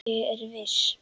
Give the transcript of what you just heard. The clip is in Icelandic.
Ég er viss.